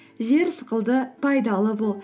жер сықылды пайдалы бол